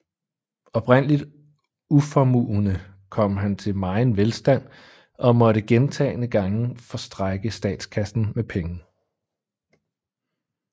Oprindeligt uformuende kom han til megen velstand og måtte gentagne gange forstrække statskassen med penge